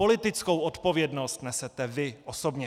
Politickou odpovědnost nesete vy osobně.